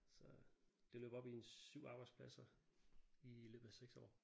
Så det løber op i en 7 arbejdspladser i løbet af 6 år